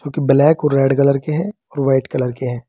Black और red colour के हैं और व्हाइट कलर के हैं।